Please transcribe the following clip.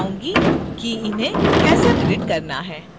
मैं दिखाऊँगी कि इन्हें कैसे डिलीट करना है